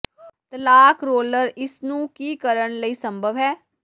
ਤਲਾਕ ਰੋਲਰ ਇਸ ਨੂੰ ਕੀ ਕਰਨ ਲਈ ਸੰਭਵ ਹੈ